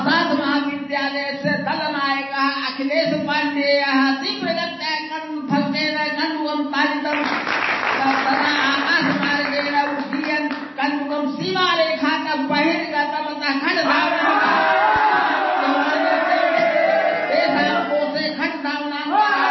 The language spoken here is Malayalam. sound clip